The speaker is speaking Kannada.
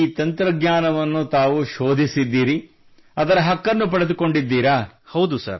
ಈಗ ಈ ತಂತ್ರಜ್ಞಾನವನ್ನು ತಾವು ಶೋಧಿಸಿದ್ದೀರಿ ಅದರ ಹಕ್ಕನ್ನು ಪಡೆದುಕೊಂಡಿದ್ದೀರಿ